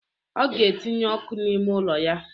Ọ ga etinye ọkụ n'ime ụlọ ya